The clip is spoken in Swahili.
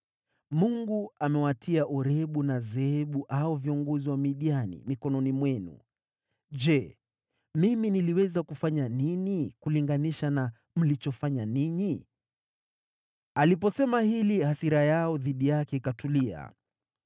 Mungu amewatia Orebu na Zeebu, hao viongozi wa Wamidiani, mikononi mwenu. Je, mimi niliweza kufanya nini kulinganisha na mlichofanya ninyi?” Aliposema hili, hasira yao dhidi yake ikatulia.